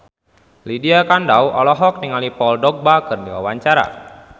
Lydia Kandou olohok ningali Paul Dogba keur diwawancara